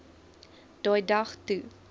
daai dag toe